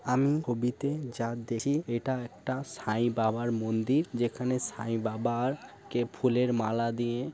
আমি কবিতে জানতেছি এটা একটা সাইবাবার মন্দির। যেখানে সাইবাবার কে ফুলের মালা দিয়ে --